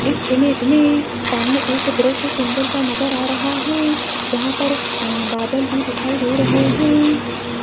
इस इमेज मे सामने एक दृश्य सुंदर सा नजर आ रहा हैं जहां पर बादल भी दिखाई दे रहें हैं।